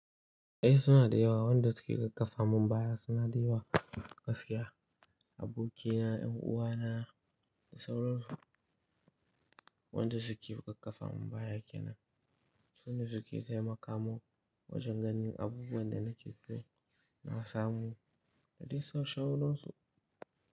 Eh suna da yawa, wanda suke ƙarfafa mun baya suna da yawa. Gaskiya abokina, yan uwana da sauran su wanda suke ƙarfafa mun baya kenan. Sune suke taimakamun wajen ganin abubuwan da nake so na samu da dai sauransu.